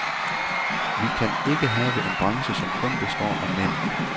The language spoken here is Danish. Vi kan ikke have en branche, som kun består af mænd.